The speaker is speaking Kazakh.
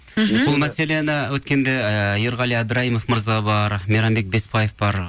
мхм бұл мәселені өткенде ыыы ерғали әбдіраимов мырза бар мейрамбек беспаев бар